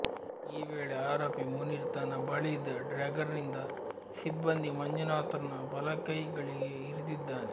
ಈ ವೇಳೆ ಆರೋಪಿ ಮುನೀರ್ ತನ್ನ ಬಳಿಯಿದ್ದ ಡ್ರ್ಯಾಗರ್ನಿಂದ ಸಿಬ್ಬಂದಿ ಮಂಜುನಾಥ್ರ ಬಲಕೈ ಳಿಗೆ ಇರಿದಿದ್ದಾನೆ